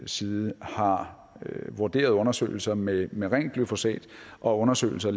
side har vurderet undersøgelser med med rent glyfosat og undersøgelser